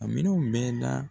A minɛnw bɛɛ la